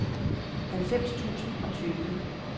halvfems tusind og tyve